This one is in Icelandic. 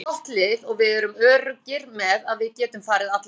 Við erum gott lið og við erum öruggir með að við getum farið alla leið.